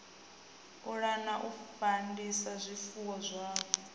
pulana u fandisa zwifuwo zwavho